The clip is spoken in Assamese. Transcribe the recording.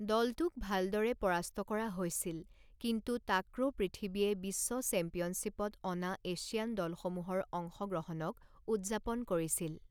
দলটোক ভালদৰে পৰাস্ত কৰা হৈছিল কিন্তু টাক্ৰ' পৃথিৱীয়ে বিশ্ব চেম্পিয়নশ্বিপত অনা এছিয়ান দলসমূহৰ অংশগ্ৰহণক উদযাপন কৰিছিল।